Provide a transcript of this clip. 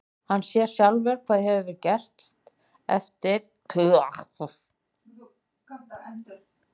Hann sér sjálfur hvað hefur gerst þegar hann kemur. og hringir á lögguna.